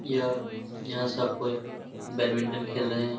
यह यहाँ सब कोई बैडमिंटन खेल रहे हैं।